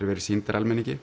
verið sýndar almenningi